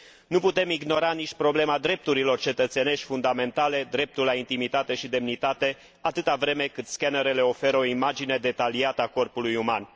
Nu putem ignora nici problema drepturilor cetățenești fundamentale, dreptul la intimitate și demnitate, atâta vreme cât scanerele oferă o imagine detaliată a corpului uman.